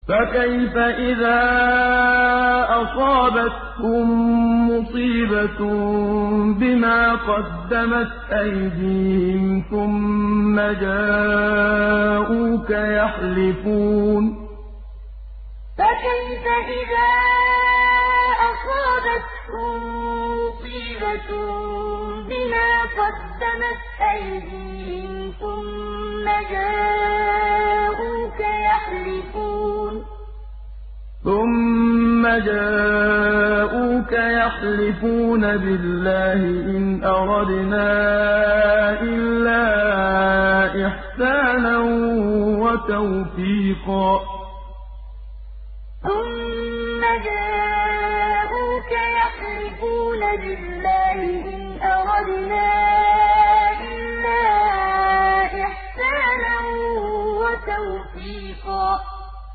فَكَيْفَ إِذَا أَصَابَتْهُم مُّصِيبَةٌ بِمَا قَدَّمَتْ أَيْدِيهِمْ ثُمَّ جَاءُوكَ يَحْلِفُونَ بِاللَّهِ إِنْ أَرَدْنَا إِلَّا إِحْسَانًا وَتَوْفِيقًا فَكَيْفَ إِذَا أَصَابَتْهُم مُّصِيبَةٌ بِمَا قَدَّمَتْ أَيْدِيهِمْ ثُمَّ جَاءُوكَ يَحْلِفُونَ بِاللَّهِ إِنْ أَرَدْنَا إِلَّا إِحْسَانًا وَتَوْفِيقًا